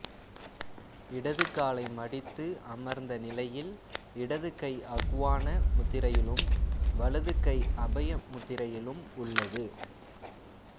இடதுகாலை மடித்து அமர்ந்த நிலையில் இடது கை அக்வான முத்திரையிலும் வலது கை அபய முத்திரையிலும் உள்ளது